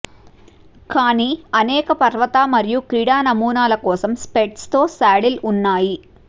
కానీ అనేక పర్వత మరియు క్రీడా నమూనాల కోసం స్ప్రెడ్స్ తో సాడిల్ ఉన్నాయి